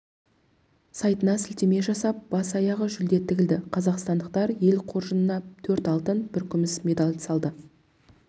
сайтына сілтеме жасап бас-аяғы жүлде тігілді қазақстандықтар ел қоржынына төрт алтын бір күміс медаль салды